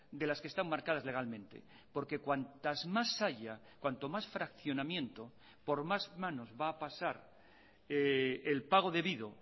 de las que están marcadas legalmente porque cuantas más haya cuanto más fraccionamiento por más manos va a pasar el pago debido